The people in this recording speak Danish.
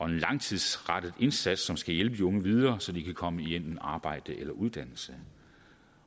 en langtidsrettet indsats som skal hjælpe de unge videre så de kan komme i enten arbejde eller uddannelse